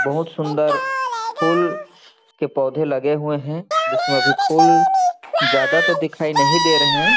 बहुत सुन्दर फूल के पौधे लगे हुए है जिसमे अभी फूल ज्यादा तो दिखाई नहीं दे रहे है।